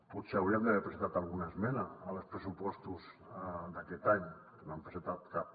potser haurien d’haver presentat alguna esmena als pressupostos d’aquest any que no n’han presentat cap